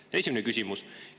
See oli esimene küsimus.